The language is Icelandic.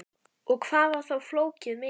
Og hvað var þá flóðið mikið?